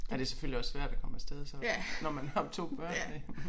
Ja det selvfølgelig også svært at komme af sted så ofte når man har 2 børn med